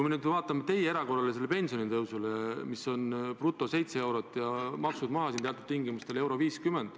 Aga vaatame teie erakorralisele pensionitõusule, mis on bruto 7 eurot ja kui maksud maha arvata, siis teatud tingimustel 1.50.